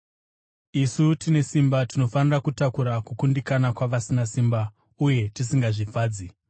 Isu tine simba tinofanira kutakura kukundikana kwavasina simba uye tisingazvifadzi.